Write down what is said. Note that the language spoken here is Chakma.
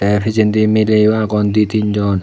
te pijendi mileyo agon di tin jon.